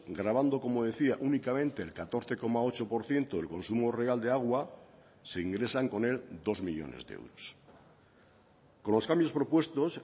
gravando como decía únicamente el catorce coma ocho por ciento del consumo real de agua se ingresan con él dos millónes de euros con los cambios propuestos